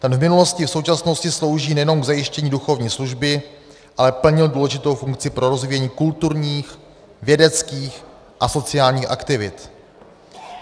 Ten v minulosti i v současnosti slouží nejenom k zajištění duchovní služby, ale plnil důležitou funkci pro rozvíjení kulturních, vědeckých a sociálních aktivit.